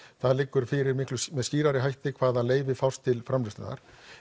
það liggur fyrir með skýrari hætti hvaða fást til framleiðslunnar